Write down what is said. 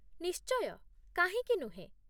ନିଶ୍ଚୟ, କାହିଁକି ନୁହେଁ